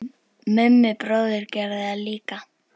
Mummi bróðir gerði það líka.